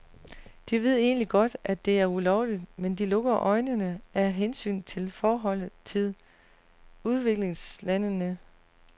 De ved egentlig godt, at det er ulovligt, men de lukker øjnene af hensyn til forholdet til udviklingslandene.